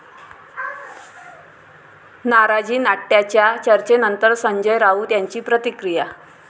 नाराजीनाट्याच्या चर्चेनंतर संजय राऊत यांची प्रतिक्रिया